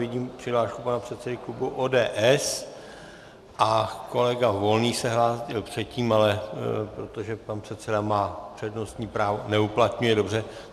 Vidím přihlášku pana předsedy klubu ODS a kolega Volný se hlásil předtím, ale protože pan předseda má přednostní právo - neuplatňuje, dobře.